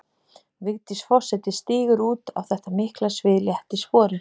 Vigdís forseti stígur út á þetta mikla svið létt í spori.